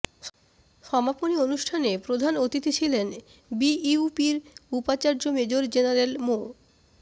সমাপনী অনুষ্ঠানে প্রধান অতিথি ছিলেন বিইউপির উপাচার্য মেজর জেনারেল মো